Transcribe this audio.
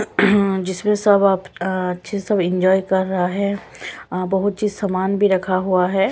जिसमें सब आप अच्छे सब इंजॉय कर रहा है अ बहोत ही सामान भी रखा हुआ है।